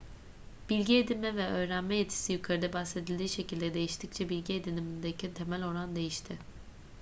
bilgi edinme ve öğrenme yetisi yukarıda bahsedildiği şekilde değiştikçe bilgi edinimindeki temel oran değişti